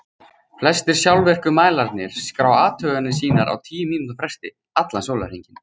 flestir sjálfvirku mælarnir skrá athuganir sínar á tíu mínútna fresti allan sólarhringinn